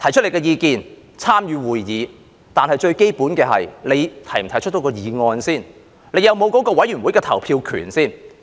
提出意見，參與會議，但最基本的問題在於我能否提出議案，以及是否有該委員會的投票權。